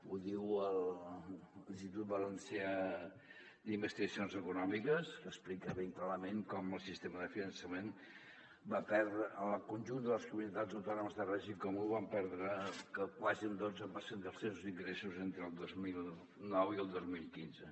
ho diu l’institut valencià d’investigacions econòmiques que explica ben clarament com el conjunt de les comunitats autòno·mes de règim comú van perdre quasi un dotze per cent dels seus ingressos entre el dos mil nou i el dos mil quinze